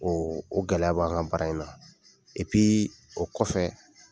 O o gɛlɛya b'an ka baara in na o kɔfɛ